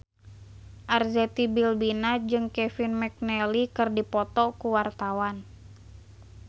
Arzetti Bilbina jeung Kevin McNally keur dipoto ku wartawan